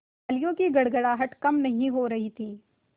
तालियों की गड़गड़ाहट कम नहीं हो रही थी